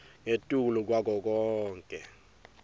ngetulu kwako konkhe